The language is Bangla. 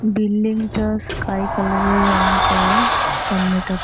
বিল্ডিং টা স্কাই কালার -এর রং করা সামনেটা ।